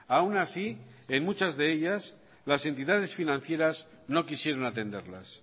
aún así en muchas de ellas las entidades financieras no quisieron atenderlas